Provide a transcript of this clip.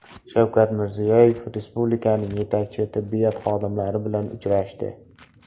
Shavkat Mirziyoyev respublikaning yetakchi tibbiyot xodimlari bilan uchrashdi.